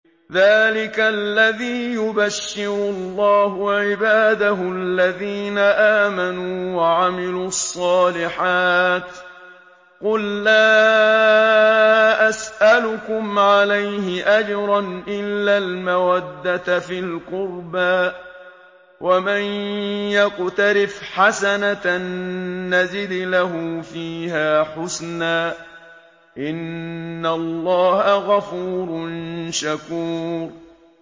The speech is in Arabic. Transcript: ذَٰلِكَ الَّذِي يُبَشِّرُ اللَّهُ عِبَادَهُ الَّذِينَ آمَنُوا وَعَمِلُوا الصَّالِحَاتِ ۗ قُل لَّا أَسْأَلُكُمْ عَلَيْهِ أَجْرًا إِلَّا الْمَوَدَّةَ فِي الْقُرْبَىٰ ۗ وَمَن يَقْتَرِفْ حَسَنَةً نَّزِدْ لَهُ فِيهَا حُسْنًا ۚ إِنَّ اللَّهَ غَفُورٌ شَكُورٌ